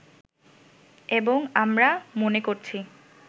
এবং আমরা মনে করছি